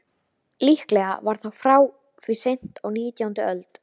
Líklega var það frá því seint á nítjándu öld.